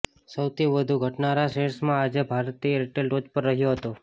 સૌથી વધુ ઘટનારા શેર્સમાં આજે ભારતી એરટેલ ટોચ પર રહ્યો હતો